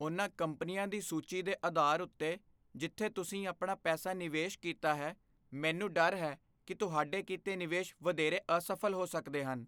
ਉਹਨਾਂ ਕੰਪਨੀਆਂ ਦੀ ਸੂਚੀ ਦੇ ਅਧਾਰ ਉੱਤੇ ਜਿੱਥੇ ਤੁਸੀਂ ਆਪਣਾ ਪੈਸਾ ਨਿਵੇਸ਼ ਕੀਤਾ ਹੈ, ਮੈਨੂੰ ਡਰ ਹੈ ਕਿ ਤੁਹਾਡੇ ਕੀਤੇ ਨਿਵੇਸ਼ ਵਧੇਰੇ ਅਸਫ਼ਲ ਹੋ ਸਕਦੇ ਹਨ।